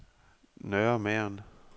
Nørre Mern